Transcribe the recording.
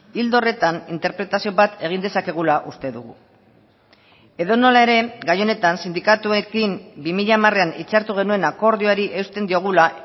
ildo horretan interpretazio bat egin dezakegula uste dugu edonola ere gai honetan sindikatuekin bi mila hamarean hitzartu genuen akordioari eusten diogula